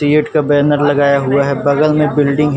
CEAT का banner लगाया हुआ है बगल में बिल्डिंग हैं।